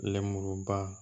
Lenmuruba